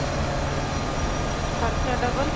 ਖ਼ਰਚਾ double